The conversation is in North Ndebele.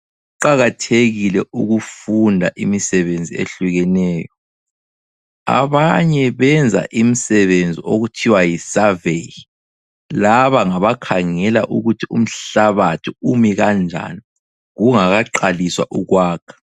Kuqakathekile ukufunda imisebenzi ehlukeneyo. Abanye benza imisebenzi okuthiwa yisurvey. Laba ngabakhangela ukuthi umhlabathi umikanjani kungakaqaliswa ukwakha.